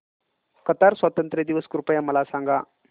Qatar स्वातंत्र्य दिवस कृपया मला सांगा